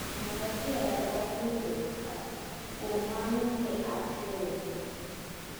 Ng`atachiel oknoyudo makate, kuom mano ne aterone.